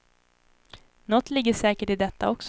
Något ligger säkert i detta också.